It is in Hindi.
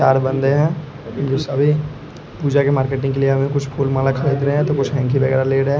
चार बंदे हैं जो सभी पूजा के मार्केटिंग के लिए फूल माला खरीद रहे हैं तो कुछ हैंकी वगैरह ले रहे हैं।